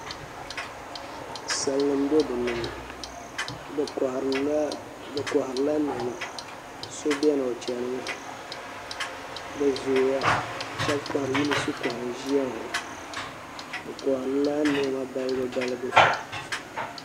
Salnim n bɛ dinni bi koharila niɛma so biɛni o chɛnimi bi zooya yunis koha n ʒiya ŋo bi koharila niɛma balibu balibu